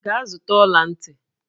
Gaa zụta ọla ntị!